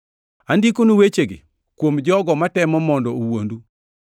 Andikonu wechegi kuom jogo matemo mondo owuondu.